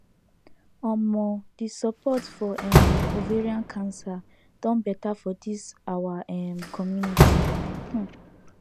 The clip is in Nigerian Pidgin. um the support for um ovarian cancer don better for this our um community um